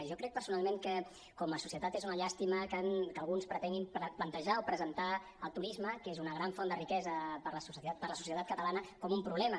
jo crec personalment que com a societat és una llàstima que alguns pretenguin plantejar o presentar el turisme que és una gran font de riquesa per a la societat catalana com un problema